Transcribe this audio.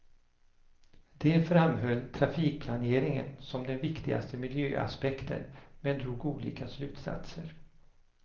De framhöll trafikplaneringen som den viktigaste miljöaspekten, men drog olika slutsatser.